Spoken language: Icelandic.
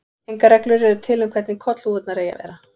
Engar reglur eru til um hvernig kollhúfurnar eigi að vera.